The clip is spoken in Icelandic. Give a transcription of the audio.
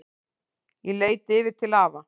Ég leit yfir til afa.